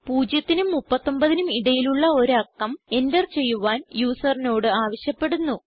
0നും 39നും ഇടയിലുള്ള ഒരു അക്കം എന്റർ ചെയ്യുവാൻ യൂസറിനോട് ആവശ്യപ്പെടുന്നു